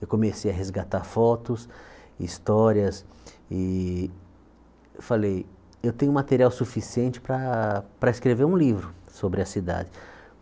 Eu comecei a resgatar fotos, histórias e falei, eu tenho material suficiente para escrever um livro sobre a cidade.